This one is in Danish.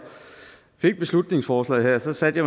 fik beslutningsforslaget satte